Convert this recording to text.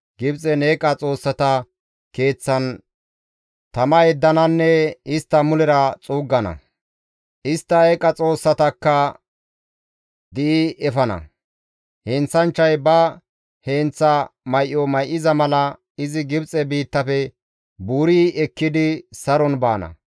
Gibxen eeqa xoossata keeththan tama yeddananne istta mulera xuuggana; istta eeqa xoossatakka di7i efana. Heenththanchchay ba heenththa may7o may7iza mala izi Gibxe biittafe buuri ekkidi saron baana.